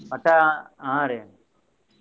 ಮತ್ತ ಹಾ ರಿ.